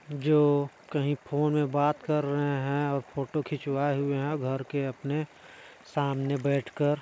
जो कहीं फोन में बात कर रहे हैं और फोटो खिचवाए हुए हैं घर के अपने सामने बैठकर।